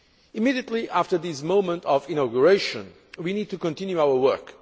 Immediately after this moment of inauguration, we need to continue our work.